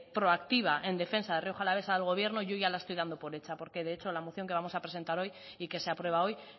proactiva en defensa de rioja alavesa del gobierno yo ya la estoy dando por hecha porque de hecho la moción que vamos a presentar hoy y que se aprueba hoy